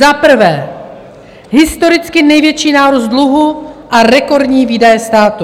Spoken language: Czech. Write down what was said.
Za prvé, historicky největší nárůst dluhu a rekordní výdaje státu.